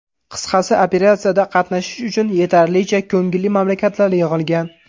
Qisqasi, operatsiyada qatnashish uchun yetarlicha ko‘ngilli mamlakatlar yig‘ilgan.